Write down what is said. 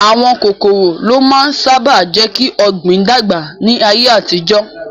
Àwọn kòkòrò ló máa ń sáábà jékí Ògbìn dàgbà ní ayé àtijọ́